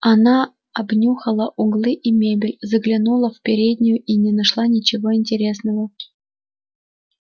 она обнюхала углы и мебель заглянула в переднюю и не нашла ничего интересного